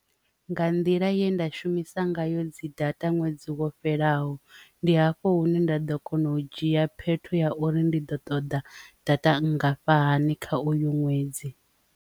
Nga nḓila ye nda shumisa ngayo dzi data ṅwedzi wo fhelaho ndi hafho hune nda ḓo kona u dzhia phetho ya uri ndi ḓo ṱoḓa data nngafhani kha u une ṅwedzi.